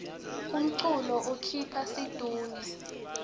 umculo ukhipha situnge